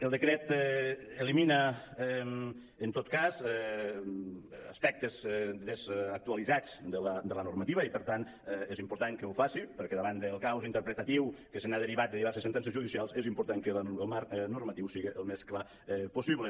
el decret elimina en tot cas aspectes desactualitzats de la normativa i per tant és important que ho faci perquè davant del caos interpretatiu que se n’ha derivat de diverses sentències judicials és important que el marc normatiu siga el més clar possible